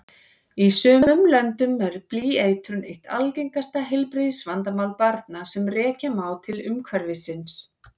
Í sumum löndum er blýeitrun eitt algengasta heilbrigðisvandamál barna sem rekja má til umhverfisins.